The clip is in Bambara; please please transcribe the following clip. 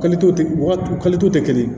wagati tɛ kelen ye